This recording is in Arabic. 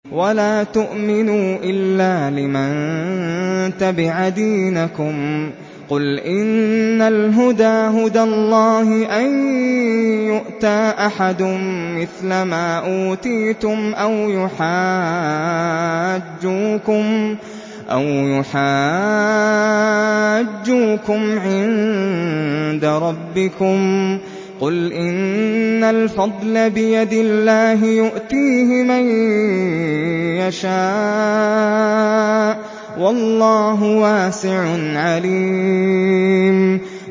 وَلَا تُؤْمِنُوا إِلَّا لِمَن تَبِعَ دِينَكُمْ قُلْ إِنَّ الْهُدَىٰ هُدَى اللَّهِ أَن يُؤْتَىٰ أَحَدٌ مِّثْلَ مَا أُوتِيتُمْ أَوْ يُحَاجُّوكُمْ عِندَ رَبِّكُمْ ۗ قُلْ إِنَّ الْفَضْلَ بِيَدِ اللَّهِ يُؤْتِيهِ مَن يَشَاءُ ۗ وَاللَّهُ وَاسِعٌ عَلِيمٌ